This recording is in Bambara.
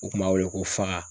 U kun b'a wele ko faa